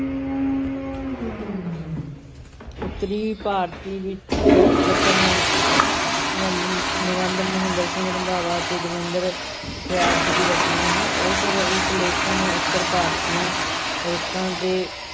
ਉੱਤਰੀ ਭਾਰਤੀ ਵਿ~ ਰੁੱਤ-ਚੱਕਰ ਨਿ~ ਨਿਬੰਧ ਮਹਿੰਦਰ ਸਿੰਘ ਰੰਧਾਵਾ ਅਤੇ ਦਵਿੰਦਰ ਸਤਿਆਰਥੀ ਦੀ ਰਚਨਾ ਹੈ, ਇਸ ਵਿਚ ਲੇਖਕਾਂ ਨੇ ਉੱਤਰ ਭਾਰਤ ਦੀਆਂ ਰੁੱਤਾਂ ਤੇ,